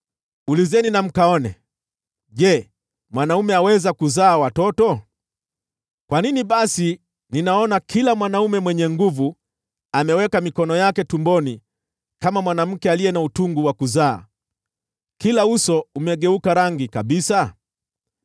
Ulizeni na mkaone: Je, mwanaume aweza kuzaa watoto? Kwa nini basi ninaona kila mwanaume mwenye nguvu ameweka mikono yake tumboni kama mwanamke aliye na utungu wa kuzaa, kila uso ukigeuka rangi kabisa?